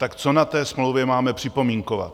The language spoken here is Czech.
Tak co na té smlouvě máme připomínkovat?